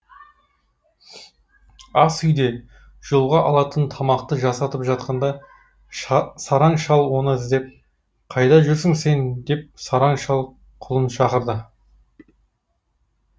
ас үйде жолға алатын тамақты жасатып жатқанда сараң шал оны іздеп қайда жүрсің сен деп сараң шал құлын шақырды